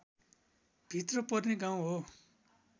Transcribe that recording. भित्र पर्ने गाउँ हो